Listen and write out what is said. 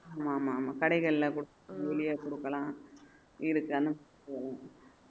ஆமா ஆமா ஆமா கடைகள்லயே கொடுக்கலாம் இதுக்கு